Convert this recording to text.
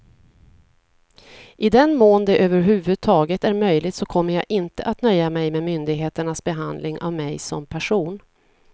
I den mån det över huvud taget är möjligt så kommer jag inte att nöja mig med myndigheternas behandling av mig som person.